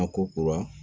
A ko kura